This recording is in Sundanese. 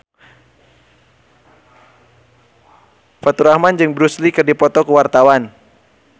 Faturrahman jeung Bruce Lee keur dipoto ku wartawan